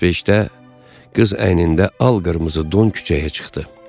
Saat 5-də qız əynində al-qırmızı don küçəyə çıxdı.